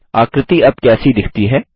आकृति अब कैसी दिखती है